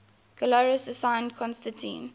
galerius assigned constantine